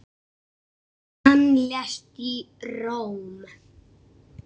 Hann lést í Róm.